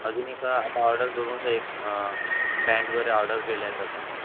अजून एका आता order करूनच आहे एक pant वगैरे order केल्यात आता.